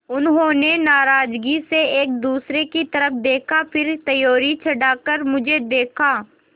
उन्होंने नाराज़गी से एक दूसरे की तरफ़ देखा फिर त्योरी चढ़ाकर मुझे देखा